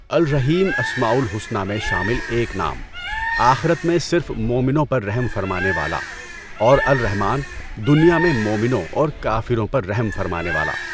الرحیم اسماءُ الحسنی میں شامل ایک نام، آخرت میں صرف مؤمنوں پر رحم فرمانے والا، اور "الرحمٰن" دنیا میں مومنوں اور کافروں پر رحم فرمانے والا۔